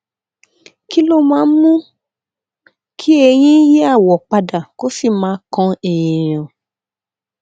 kí ló máa ń mú kí eyín yí àwọ pa dà kó sì máa kan èèyàn